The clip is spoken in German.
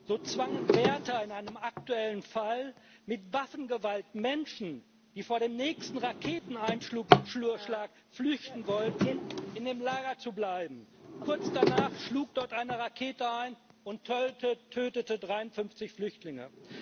So zwangen in einem aktuellen Fall Wärter mit Waffengewalt Menschen, die vor dem nächsten Raketeneinschlag flüchten wollten, in dem Lager zu bleiben. Kurz danach schlug dort eine Rakete ein und tötete 53 Flüchtlinge.